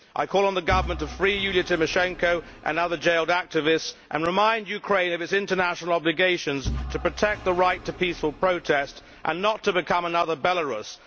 I call on the government to free Yulia Tymoshenko and other jailed activists and remind Ukraine of its international obligations to protect the right to peaceful protest and not to become another Belarus.